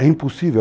É impossível.